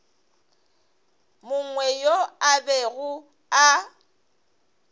mongwe yo a bego a